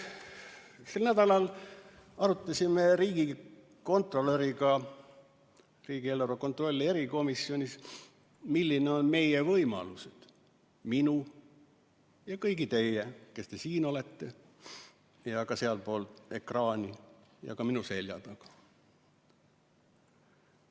Sel nädalal arutasime riigikontrolöriga riigieelarve kontrolli erikomisjonis, millised on meie võimalused – minu ja kõigi teie, kes te olete siin- ja sealpool ekraani või minu selja taga.